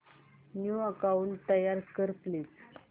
new account तयार कर please